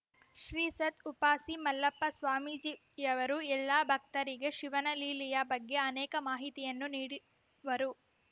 ಶ್ರೀಸತ್‌ ಉಪಾಸಿ ಮಲ್ಲಪ್ಪ ಸ್ವಾಮೀಜಿಯವರು ಎಲ್ಲಾ ಭಕ್ತರಿಗೆ ಶಿವನ ಲೀಲೆಯ ಬಗ್ಗೆ ಅನೇಕ ಮಾಹಿತಿಯನ್ನು ನೀಡಿ ವರು